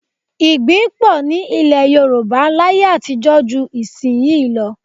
Igbí pọ̀ ní ilẹ̀ Yorùbá láyé àtijọ́ ju ìsin yìí lọ